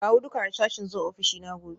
Kawo duka harsashi zuwa ofishina gobe